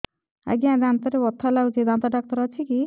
ଆଜ୍ଞା ଦାନ୍ତରେ ବଥା ଲାଗୁଚି ଦାନ୍ତ ଡାକ୍ତର ଅଛି କି